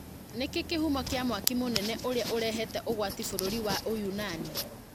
Nĩkĩ kĩhumo kĩa mwaki mũnene ũrĩa ũrehete ũgwati bũrũri wa Ũyunani